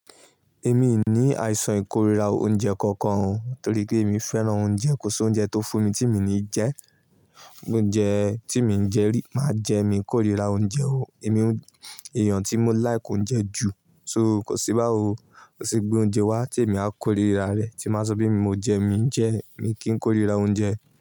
Èmi ò ní àìsàn ìkórìíra oúnjẹ kankan o, torí pé èmi fẹ́ràn oúnjẹ, kò sí oúnjẹ tó fún mi tí mi ò ní jẹ. Oúnjẹ tí mi i jẹ rí máa jẹ mi kórira oúnjẹ o. Èmi, èèyàn tí mo like oúnjẹ jù, so kò sí báwo, kò sí gbé oúnjẹ wá tí èmi a kórira rẹ̀ tí máa sọ mi mo jẹ mí jẹ, mi kì í kórira oúnjẹ.